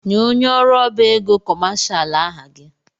Nye onye ọrụ ọbá égo kọmashal aha gị!